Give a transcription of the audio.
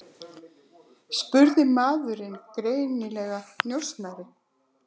spurði maðurinn, greinilega njósnari.